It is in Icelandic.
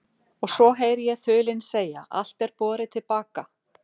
Og svo heyri ég þulinn segja: allt er borið til baka.